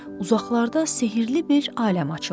Uzaqlarda sehrli bir aləm açılırdı.